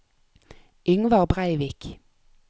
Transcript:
Yngvar Brevik